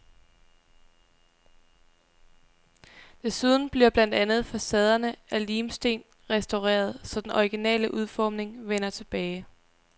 Desuden bliver blandt andet facaderne af lim-sten restaureret, så den originale udformning vender tilbage.